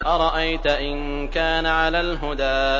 أَرَأَيْتَ إِن كَانَ عَلَى الْهُدَىٰ